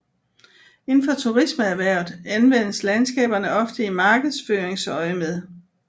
Inden for turismeerhvervet anvendes landskaberne ofte i markedsføringsøjemed